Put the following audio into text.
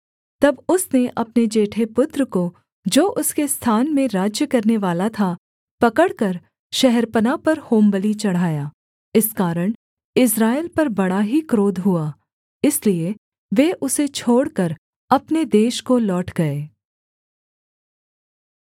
तब उसने अपने जेठे पुत्र को जो उसके स्थान में राज्य करनेवाला था पकड़कर शहरपनाह पर होमबलि चढ़ाया इस कारण इस्राएल पर बड़ा ही क्रोध हुआ इसलिए वे उसे छोड़कर अपने देश को लौट गए